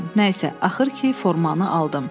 Nə isə, axır ki, formanı aldım.